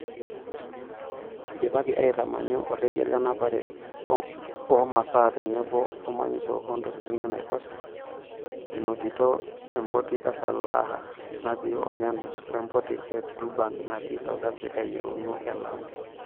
"Idipaki aaitamanyu orekia lenapare oomasaa o tenebo omanyisho oontokiti enaiposha enotito empoti e Salalah natii Oman we mpoti e Durban natii South Africa yieuna e Lamu."